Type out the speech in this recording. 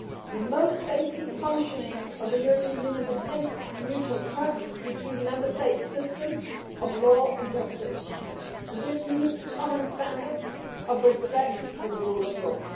The most basic functioning of the European Union depends on mutual trust between Member States' systems of law and justice. This needs common standards of respect for the rule of law.